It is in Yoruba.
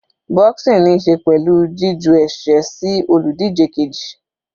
Boxing níí ṣe pẹ̀lú jí ju ẹ̀sẹ́ sí olùdíje keji.